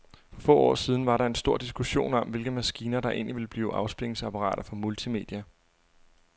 For få år siden var der stor diskussion om, hvilke maskiner, der egentlig ville blive afspilningsapparater for multimedia.